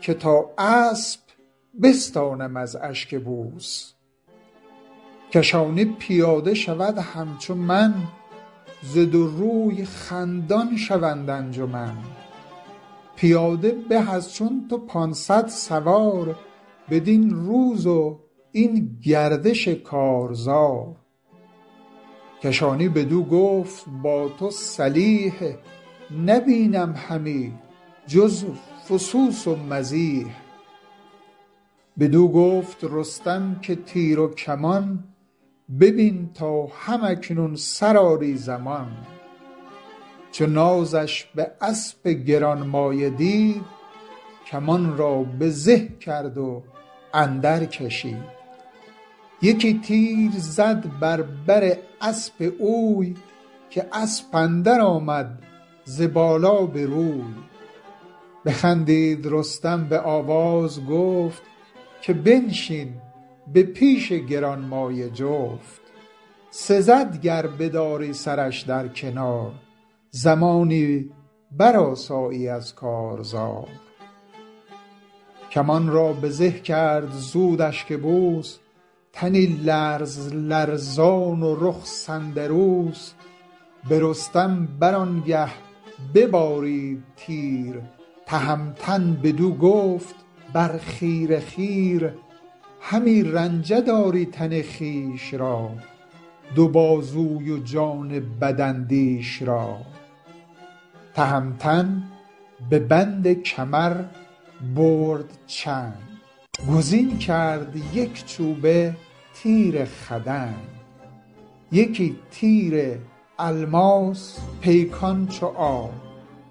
که تا اسپ بستانم از اشکبوس کشانی پیاده شود همچو من ز دو روی خندان شوند انجمن پیاده به از چون تو پانصد سوار بدین روز و این گردش کارزار کشانی بدو گفت با تو سلیح نبینم همی جز فسوس و مزیح بدو گفت رستم که تیر و کمان ببین تا هم اکنون سرآری زمان چو نازش به اسپ گرانمایه دید کمان را به زه کرد و اندر کشید یکی تیر زد بر بر اسپ اوی که اسپ اندر آمد ز بالا به روی بخندید رستم به آواز گفت که بنشین به پیش گرانمایه جفت سزد گر بداری سرش در کنار زمانی برآسایی از کارزار کمان را به زه کرد زود اشکبوس تنی لرز لرزان و رخ سندروس به رستم بر آنگه ببارید تیر تهمتن بدو گفت برخیره خیر همی رنجه داری تن خویش را دو بازوی و جان بداندیش را تهمتن به بند کمر برد چنگ گزین کرد یک چوبه تیر خدنگ یکی تیر الماس پیکان چو آب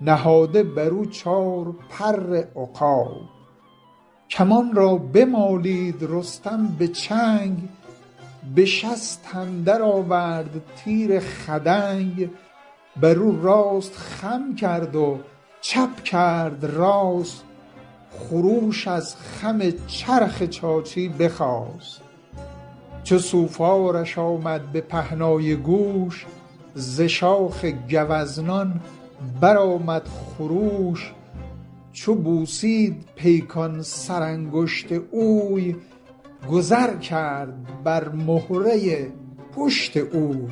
نهاده بر او چار پر عقاب کمان را بمالید رستم به چنگ به شست اندر آورد تیر خدنگ برو راست خم کرد و چپ کرد راست خروش از خم چرخ چاچی بخاست چو سوفارش آمد به پهنای گوش ز شاخ گوزنان برآمد خروش چو بوسید پیکان سرانگشت اوی گذر کرد بر مهره پشت اوی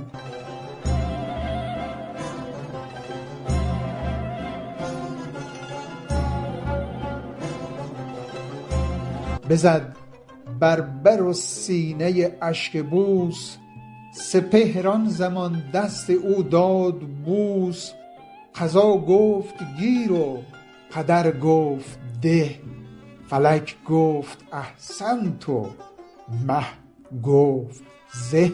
بزد بر بر و سینه اشکبوس سپهر آن زمان دست او داد بوس قضا گفت گیر و قدر گفت ده فلک گفت احسنت و مه گفت زه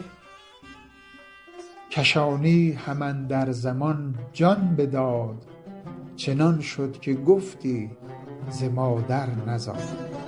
کشانی هم اندر زمان جان بداد چنان شد که گفتی ز مادر نزاد نظاره بر ایشان دو رویه سپاه که دارند پیکار گردان نگاه نگه کرد کاموس و خاقان چین بر آن برز و بالا و آن زور و کین چو برگشت رستم هم اندر زمان سواری فرستاد خاقان دمان کزان نامور تیر بیرون کشید همه تیر تا پر پر از خون کشید همه لشکر آن تیر برداشتند سراسر همه نیزه پنداشتند چو خاقان بدان پر و پیکان تیر نگه کرد برنا دلش گشت پیر به پیران چنین گفت کین مرد کیست ز گردان ایران ورا نام چیست تو گفتی که لختی فرومایه اند ز گردنکشان کمترین پایه اند کنون نیزه با تیر ایشان یکیست دل شیر در جنگشان اندکیست همی خوار کردی سراسر سخن جز آن بد که گفتی ز سر تا به بن بدو گفت پیران کز ایران سپاه ندانم کسی را بدین پایگاه کجا تیر او بگذرد بر درخت ندانم چه دارد به دل شوربخت از ایرانیان گیو و طوس اند مرد که با فر و برزند روز نبرد برادرم هومان بسی پیش طوس جهان کرد بر گونه آبنوس به ایران ندانم که این مرد کیست بدین لشکر او را هم آورد کیست شوم بازپرسم ز پرده سرای بیارند ناکام نامش به جای بیامد پر اندیشه و روی زرد بپرسید زان نامداران مرد به پیران چنین گفت هومان گرد که دشمن ندارد خردمند خرد بزرگان ایران گشاده دلند تو گویی که آهن همی بگسلند کنون تا بیامد از ایران سپاه همی برخروشند زان رزمگاه بدو گفت پیران که هر چند یار بیاید بر طوس از ایران سوار چو رستم نباشد مرا باک نیست ز گرگین و بیژن دلم چاک نیست سپه را دو رزم گرانست پیش بجویند هر کس بدین نام خویش وزان جایگه پیش کاموس رفت به نزدیک منشور و فرطوس تفت چنین گفت کامروز رزمی بزرگ برفت و پدید آمد از میش گرگ ببینید تا چاره کار چیست بران خستگی ها بر آزار چیست چنین گفت کاموس کامروز جنگ چنان بد که نام اندر آمد به ننگ به رزم اندرون کشته شد اشکبوس وزو شادمان شد دل گیو و طوس دلم زان پیاده به دو نیم شد کزو لشکر ما پر از بیم شد به بالای او بر زمین مرد نیست بدین لشکر او را هم آورد نیست کمانش تو دیدی و تیر ایدرست به زور او ز پیل ژیان برترست همانا که آن سگزی جنگجوی که چندین همی برشمردی ازوی پیاده بدین رزمگاه آمدست به یاری ایران سپاه آمدست بدو گفت پیران که او دیگرست سواری سرافراز و کنداورست بترسید پس مرد بیدار دل کجا بسته بود اندران کار دل ز پیران بپرسید کان شیر مرد چگونه خرامد به دشت نبرد ز بازو و برزش چه داری نشان چه گوید به آورد با سرکشان چگونست مردی و دیدار اوی چگونه شوم من به پیکار اوی گر ایدونک اویست کامد ز راه مرا رفت باید به آوردگاه بدو گفت پیران که این خود مباد که او آید ایدر کند رزم یاد یکی مرد بینی چو سرو سهی به دیدار با زیب و با فرهی بسا رزمگاها که افراسیاب ازو گشت پیچان و دیده پرآب یکی رزمسازست و خسروپرست نخست او برد سوی شمشیر دست به کین سیاوش کند کارزار کجا او بپروردش اندر کنار ز مردان کنند آزمایش بسی سلیح ورا برنتابد کسی نه برگیرد از جای گرزش نهنگ اگر بفگند بر زمین روز جنگ زهی بر کمانش بر از چرم شیر یکی تیر و پیکان او ده ستیر به رزم اندر آید بپوشد زره یکی جوشن از بر ببندد گره یکی جامه دارد ز چرم پلنگ بپوشد بر و اندر آید به جنگ همی نام ببر بیان خواندش ز خفتان و جوشن فزون داندش نه سوزد در آتش نه از آب تر شود چون بپوشد برآیدش پر یکی رخش دارد به زیر اندرون تو گفتی روان شد که بیستون همی آتش افروزد از خاک و سنگ نیارامد از بانگ هنگام جنگ ابا این شگفتی به روز نبرد سزد گر نداری تو او را به مرد چو بشنید کاموس بسیارهوش به پیران سپرد آن زمان چشم و گوش همانا خوش آمدش گفتار اوی برافروخت زان کار بازار اوی به پیران چنین گفت کای پهلوان تو بیدار دل باش و روشن روان ببین تا چه خواهی ز سوگند سخت که خوردند شاهان بیداربخت خورم من فزون زان کنون پیش تو که روشن شود زان دل و کیش تو که زین را نه بردارم از پشت بور به نیروی یزدان کیوان و هور مگر بخت و رای تو روشن کنم بر ایشان جهان چشم سوزن کنم بسی آفرین خواند پیران بدوی که ای شاه بینادل و راست گوی بدین شاخ و این یال و بازوی و کفت هنرمند باشی ندارم شگفت به کام تو گردد همه کار ما نماندست بسیار پیکار ما وزان جایگه گرد لشکر بگشت به هر خیمه و پرده ای برگذشت بگفت این سخن پیش خاقان چین همی گفت با هر کسی همچنین ز خورشید چون شد جهان لعل فام شب تیره بر چرخ بگذاشت گام دلیران لشکر شدند انجمن که بودند دانا و شمشیرزن به خرگاه خاقان چین آمدند همه دل پر از رزم و کین آمدند چو کاموس اسپ افگن شیرمرد چو منشور و فرطوس مرد نبرد شمیران شگنی و شنگل ز هند ز سقلاب چون کندر و شاه سند همی رای زد رزم را هر کسی از ایران سخن گفت هر کس بسی از آن پس بر آن رایشان شد درست که یک سر به خون دست بایست شست برفتند هر کس به آرام خویش بخفتند در خیمه با کام خویش چو باریک و خمیده شد پشت ماه ز تاریک زلف شبان سیاه به نزدیک خورشید چون شد درست برآمد پر از آب رخ را بشست سپاه دو کشور برآمد به جوش به چرخ بلند اندر آمد خروش چنین گفت خاقان که امروز جنگ نباید که چون دی بود با درنگ گمان برد باید که پیران نبود نه بی او نشاید نبرد آزمود همه همگنان رزمساز آمدیم به یاری ز راه دراز آمدیم گر امروز چون دی درنگ آوریم همه نام را زیر ننگ آوریم و دیگر که فردا ز افراسیاب سپاس اندر آرام جوییم و خواب یکی رزم باید همه هم گروه شدن پیش لشکر به کردار کوه ز من هدیه و برده زابلی بیابید با شاره کابلی ز ده کشور ایدر سرافراز هست به خواب و به خوردن نباید نشست بزرگان ز هر جای برخاستند به خاقان چین خواهش آراستند که بر لشکر امروز فرمان تراست همه کشور چین و توران تراست یک امروز بنگر بدین رزمگاه که شمشیر بارد ز ابر سیاه وزین روی رستم به ایرانیان چنین گفت کاکنون سرآمد زمان اگر کشته شد زین سپاه اندکی نشد بیش و کم از دو سیصد یکی چنین یکسره دل مدارید تنگ نخواهم تن زنده بی نام و ننگ همه لشکر ترک از اشکبوس برفتند رخساره چون سندروس کنون یک سره دل پر از کین کنید بروهای جنگی پر از چین کنید که من رخش را بستم امروز نعل به خون کرد خواهم سر تیغ لعل بسازید کامروز روز نوست زمین سر به سر گنج کیخسروست میان را ببندید کز کارزار همه تاج یابید با گوشوار بزرگان برو خواندند آفرین که از تو فروزد کلاه و نگین